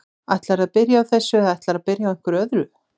Ætlarðu að byrja á þessu eða ætlarðu að byrja á einhverju öðru?